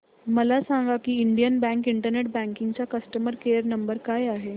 मला सांगा की इंडियन बँक इंटरनेट बँकिंग चा कस्टमर केयर नंबर काय आहे